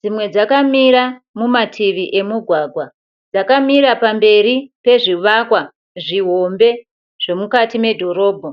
dzimwe dzakamira mumativi emugwagwa. Dzakamira pamberi pezvivakwa zvihombe zvomukati medhorobha.